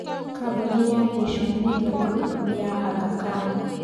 Kambuni ya Nation Media Group nĩ ya Aga Khan.